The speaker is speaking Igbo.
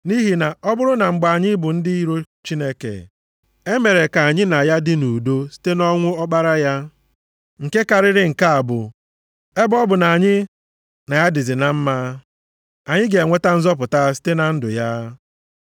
Nʼihi na, ọ bụrụ na mgbe anyị bụ ndị iro Chineke, e mere ka anyị na ya dị nʼudo site nʼọnwụ Ọkpara ya, nke karịrị nke a bụ, ebe ọ bụ na anyị na ya dịzi na mma, anyị ga-enweta nzọpụta site na ndụ ya.